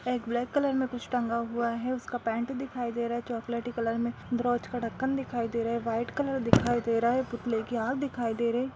एक black colour मे कुछ टंगा हुआ है उसका पैंट दिखाई दे रहा है चोकोलेटी कलर में ब्रोच का ढक्कन दिखाई दे रहा है वाइट कलर दिखाई दे रहा है पुतले की आँख दिखाई दे रही है।